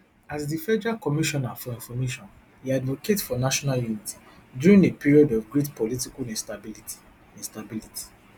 as di federal commissioner for information e advocate for national unity during a period of great political instability instability